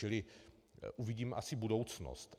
Čili uvidím asi budoucnost.